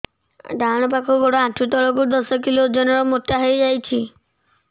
ଡାହାଣ ପାଖ ଗୋଡ଼ ଆଣ୍ଠୁ ତଳକୁ ଦଶ କିଲ ଓଜନ ର ମୋଟା ହେଇଯାଇଛି